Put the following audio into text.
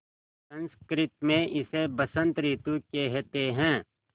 संस्कृत मे इसे बसंत रितु केहेते है